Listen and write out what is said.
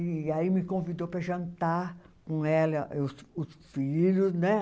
E aí me convidou para jantar com ela, os os filhos, né?